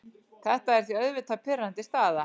Þetta er því auðvitað pirrandi staða.